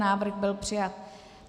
Návrh byl přijat.